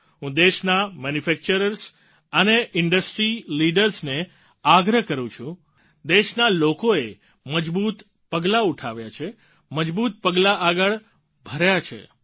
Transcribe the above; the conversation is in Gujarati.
હું દેશના મેન્યુફેક્ચર્સ અને ઇન્ડસ્ટ્રી લીડર્સ ને આગ્રહ કરું છું દેશના લોકોએ મજબૂત પગલાં ઉઠાવ્યા છે મજબૂત પગલાં આગળ ભર્યા છે